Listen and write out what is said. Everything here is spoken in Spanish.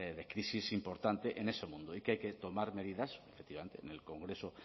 de crisis importante en ese mundo y que hay que tomar medidas efectivamente en el congreso